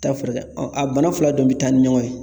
Taa furakɛ a bana fila de bi taa ni ɲɔgɔn ye.